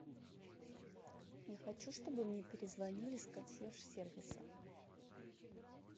я хочу чтобы мне перезвонили с консьерж сервиса